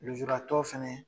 Lujuratɔ fɛnɛ